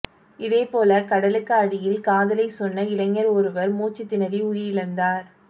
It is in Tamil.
இதேபோல கடலுக்கு அடியில் காதலைச் சொன்ன இளைஞர் ஒருவர் மூச்சுத் திணறி உயிரிழந்தார்